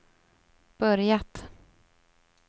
börjat